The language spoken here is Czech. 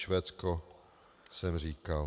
Švédsko jsem říkal.